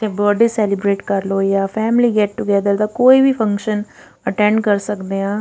ਤੇ birthday celebrate ਕਰਲੋ ਜਾਂ ਫੈਮਿਲੀ ਗੇਟ ਟੋਗੇਥਰ ਦਾ ਕੋਈ ਵੀ ਫੰਕਸ਼ਨ ਅਟੈਂਡ ਕਰ ਸਕਦੇ ਆ।